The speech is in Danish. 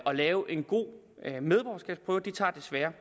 at lave en god medborgerskabsprøve det tager desværre